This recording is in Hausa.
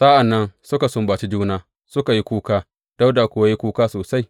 Sa’an nan suka sumbaci juna, suka yi kuka, Dawuda kuwa ya yi kuka sosai.